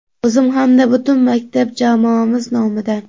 O‘zim hamda butun maktab jamoamiz nomidan.